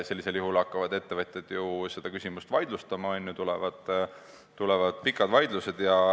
Sellisel juhul hakkavad ettevõtjad seda otsust vaidlustama, tulevad pikad vaidlused.